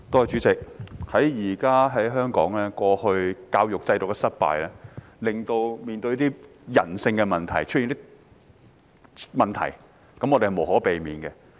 主席，香港過去教育制度的失敗，令現時出現人性的問題，這是無可避免的。